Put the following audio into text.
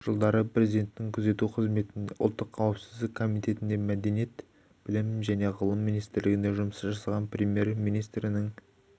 жылдары президентін күзету қызметінде ұлттық қауіпсіздік комитетінде мәдениет білім және ғылым министрлігінде жұмыс жасаған премьер-министрінің